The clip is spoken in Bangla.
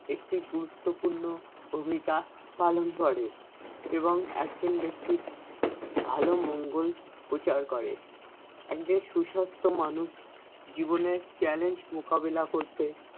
একটি গুরুত্বপূর্ণ ভূমিকা পালন করে এবং একজন ব্যক্তি ভালো মঙ্গল পোচার করে একজন সুসাস্থ্য মানুষ জীবনের challenge মোকাবেলা করতে